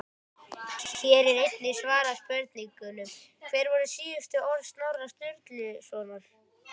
Hér er einnig svarað spurningunum: Hver voru síðustu orð Snorra Sturlusonar?